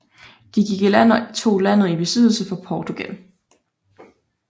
De gik i land og tog landet i besiddelse for Portugal